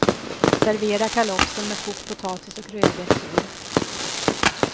Servera kalopsen med kokt potatis och rödbetor.